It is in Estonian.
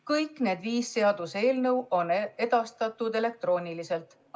Kõik need viis seaduseelnõu on edastatud elektrooniliselt.